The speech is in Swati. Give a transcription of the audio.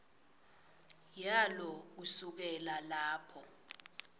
yalo kusukela lapho